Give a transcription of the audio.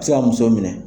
Se ka muso minɛ